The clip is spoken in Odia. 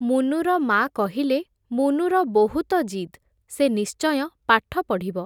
ମୁନୁର ମା’ କହିଲେ, ମୁନୁର ବହୁତ ଜିଦ୍, ସେ ନିଶ୍ଚୟ ପାଠ ପଢ଼ିବ ।